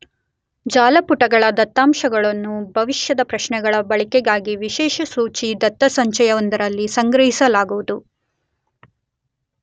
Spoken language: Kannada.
ಜಾಲಪುಟಗಳ ದತ್ತಾಂಶಗಳನ್ನು ಭವಿಷ್ಯದ ಪ್ರಶ್ನೆಗಳ ಬಳಕೆಗಾಗಿ ವಿಷಯಸೂಚಿ ದತ್ತಸಂಚಯವೊಂದರಲ್ಲಿ ಸಂಗ್ರಹಿಲಾಗುವುದು.